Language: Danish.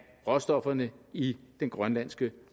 råstofferne i den grønlandske